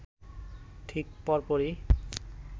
ঠিক পর পরই